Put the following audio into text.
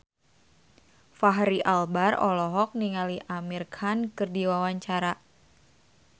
Fachri Albar olohok ningali Amir Khan keur diwawancara